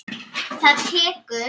Það tekur